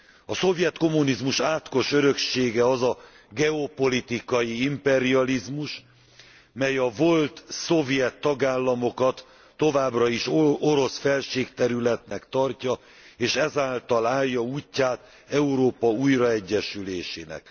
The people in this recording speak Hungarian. A szovjet kommunizmus átkos öröksége az a geopolitikai imperializmus, mely a volt szovjet tagállamokat továbbra is orosz felségterületnek tartja, és ezáltal állja útját Európa újraegyesülésének.